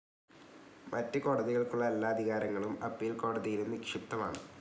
മറ്റ് കോടതികൾക്കുള്ള എല്ലാ അധികാരങ്ങളും അപ്പീൽ കോടതിയിലും നിക്ഷിപ്തമാണ്.